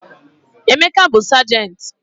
Emeka bụ sajenti.